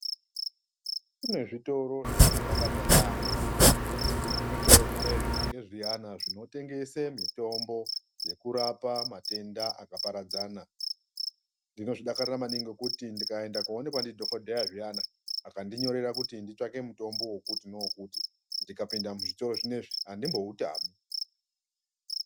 Kune zvitoro zvandinodakarira yamho zvitoro zvinozvi ngezviyani zvinotengese mitombo yekurapa matenda akaparadzana ndinozvidakarira maningi ngekuti ndikaenda koonekwa ndidhokodheya zviyana akandinyorera kuti nditsvake mutombo wekuti newekuti ndikapinda muzvitoro zvinoizvi andimboutami.